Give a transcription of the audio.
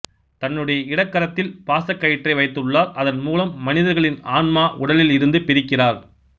தன்னுடைய இடக்கரத்தில் பாசக்கயிற்றை வைத்துள்ளார் அதன் மூலம் மனிதர்களின் ஆன்மாவை உடலில் இருந்து பிரிக்கிறார்